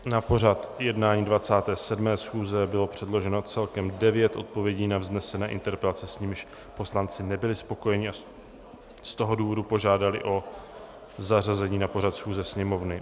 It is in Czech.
Na pořad jednání 27. schůze bylo předloženo celkem devět odpovědí na vznesené interpelace, s nimiž poslanci nebyli spokojeni, a z toho důvodu požádali o zařazení na pořad schůze Sněmovny.